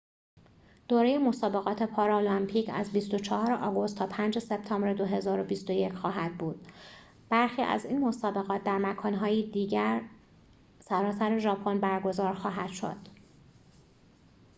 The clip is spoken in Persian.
دوره مسابقات پارالمپیک از ۲۴ آگوست تا ۵ سپتامبر ۲۰۲۱ خواهد بود برخی از این مسابقات در مکان‌های دیگر سراسر ژاپن برگزار خواهد شد